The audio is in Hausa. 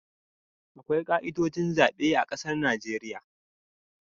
Akwai ka'idojin zabe a ƙasar Najeriya